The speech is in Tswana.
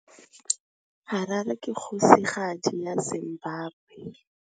Harare ke kgosigadi ya Zimbabwe.